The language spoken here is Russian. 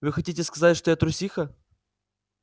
вы хотите сказать что я трусиха